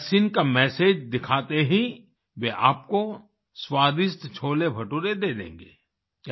vaccine का message दिखाते ही वे आपको स्वादिष्ट छोलेभटूरे दे देंगे